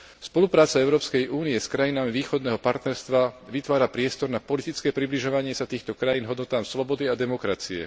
Spolupráca Európskej únie s krajinami Východného partnerstva vytvára priestor na politické približovanie sa týchto krajín hodnotám slobody a demokracie.